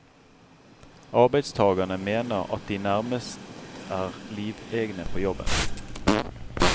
Arbeidstagerne mener at de nærmest er livegne på jobben.